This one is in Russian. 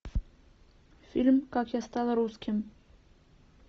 фильм как я стал русским